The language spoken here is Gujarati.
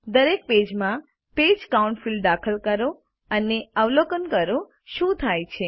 દરેક પેજમાં પેજ કાઉન્ટ ફિલ્ડ દાખલ કરો અને અવલોકન કરો શું થાય છે